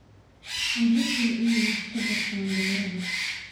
Carruurtu waa inay wax ka bartaan beeraha.